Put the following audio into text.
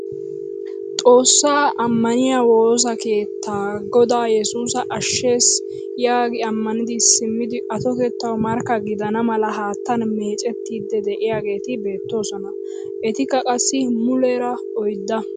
Xoossaa ammaniyaa woossa keettaa gooda yesusi ashshes yaagi ammanidi simmidi atottetawu markka gidana mala haattaan meecettiidi de'iyaageti beettoosona. etikka qassi muleera oydda.